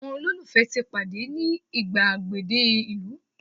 àwọn ololufe ti pade ni igbagede ìlú